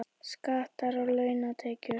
Skattar á launatekjur